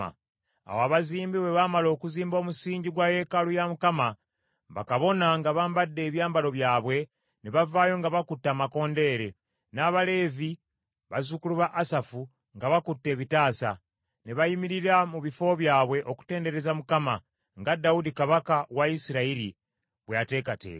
Awo abazimbi bwe baamala okuzimba omusingi gwa yeekaalu ya Mukama , bakabona nga bambadde ebyambalo byabwe ne bavaayo nga bakutte amakondeere, n’abaleevi, bazzukulu ba Asafu, nga bakutte ebitaasa, ne bayimirira mu bifo byabwe okutendereza Mukama , nga Dawudi kabaka wa Isirayiri bwe yateekateeka.